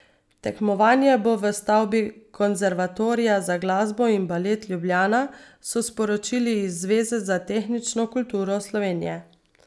Tekmovanje bo v stavbi Konservatorija za glasbo in balet Ljubljana, so sporočili iz Zveze za tehnično kulturo Slovenije.